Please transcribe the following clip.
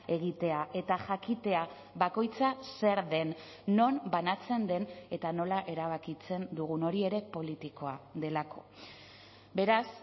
egitea eta jakitea bakoitza zer den non banatzen den eta nola erabakitzen dugun hori ere politikoa delako beraz